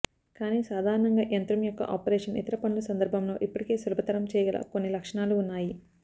కానీ సాధారణంగా యంత్రం యొక్క ఆపరేషన్ ఇతర పనులు సందర్భంలో ఇప్పటికే సులభతరం చేయగల కొన్ని లక్షణాలు ఉన్నాయి